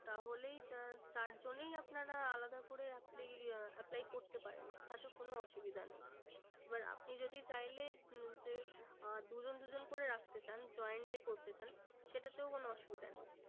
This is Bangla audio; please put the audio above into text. তাহলেই চার জন্যেই আপনারা আলাদা করে apply করতে পারেন তাতে কোনো অসুবিধা নেই। এবার আপনি যদি চাইলে উম যে আহ দুজন দুজন করে রাখতে চান joined এ করতে চান সেটাতেও কোনো অসুবিধা নেই।